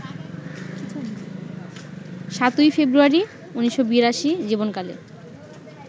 ৭ই ফেব্রুয়ারি, ১৯৮২ জীবনকালে